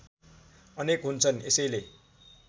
अनेक हुन्छन् यसैले